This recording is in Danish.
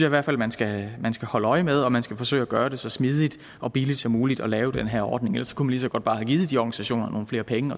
i hvert fald man skal man skal holde øje med og man skal forsøge at gøre det så smidigt og billigt som muligt at lave den her ordning ellers kunne så godt bare have givet de organisationer nogle flere penge